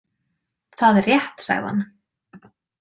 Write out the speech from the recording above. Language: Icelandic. Það er rétt, sagði hann.